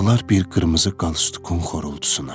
Ağlar bir qırmızı qalstukın xorultusuna.